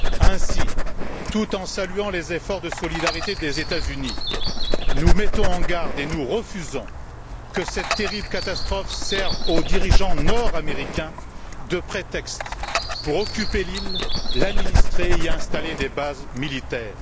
Ainsi, tout en saluant les efforts de solidarité des États Unis, il nous faut prendre garde et refuser que cette terrible catastrophe serve aux dirigeants nord américains, de prétexte pour occuper l'île, l'administrer et y installer des bases militaires.